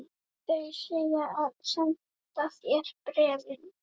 Þeir segjast senda þér bréfin.